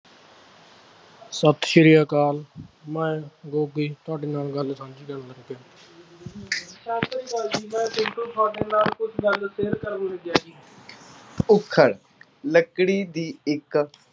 ਸਤਿ ਸ੍ਰੀ ਅਕਾਲ, ਮੈਂ ਗੋਗੀ ਤੁਹਾਡੇ ਨਾਲ ਗੱਲ ਸਾਂਝੀ ਕਰਨ ਲੱਗਿਆ। ਸਤਿ ਸ੍ਰੀ ਅਕਾਲ ਜੀ ਮੈਂ ਚਿੰਟੂ, ਤੁਹਾਡੇ ਨਾਲ ਕੁੱਝ ਗੱਲ share ਕਰਨ ਲੱਗਿਆ ਸੀ। ਉੱਖਲ, ਲੱਕੜੀ ਦੀ ਇੱਕ,